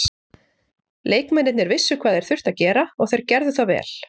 Leikmennirnir vissu hvað þeir þurftu að gera og þeir gerðu það vel